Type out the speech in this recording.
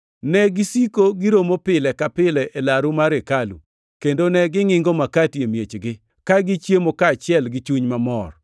Negisiko giromo pile ka pile e laru mar hekalu, kendo ne gingʼingo makati e miechgi, ka gichiemo kaachiel gi chuny mamor.